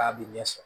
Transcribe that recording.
K'a bɛ ɲɛ sɔrɔ